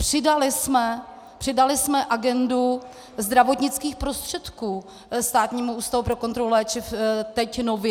Přidali jsme agendu zdravotnických prostředků Státnímu ústavu pro kontrolu léčiv teď nově.